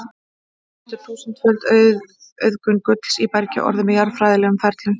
En hvernig getur þúsundföld auðgun gulls í bergi orðið með jarðfræðilegum ferlum?